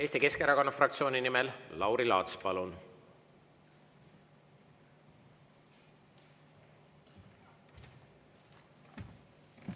Eesti Keskerakonna fraktsiooni nimel Lauri Laats, palun!